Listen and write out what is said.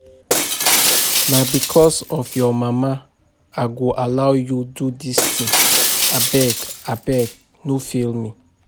Na because of your mama I go allow you do dis thing, abeg abeg no fail me